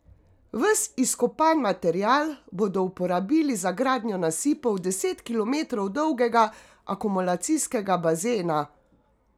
Ves izkopan material bodo uporabili za gradnjo nasipov deset kilometrov dolgega akumulacijskega bazena.